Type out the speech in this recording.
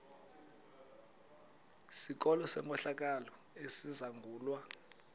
sikolo senkohlakalo esizangulwa